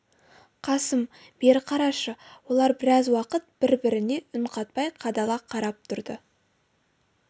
қасым бері қарашы олар біраз уақыт бір-біріне үн қатпай қадала қарап тұрды